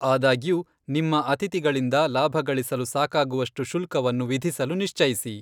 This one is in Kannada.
ಆದಾಗ್ಯೂ ನಿಮ್ಮ ಅತಿಥಿಗಳಿಂದ ಲಾಭಗಳಿಸಲು ಸಾಕಾಗುವಷ್ಟು ಶುಲ್ಕವನ್ನು ವಿಧಿಸಲು ನಿಶ್ಚಯಿಸಿ.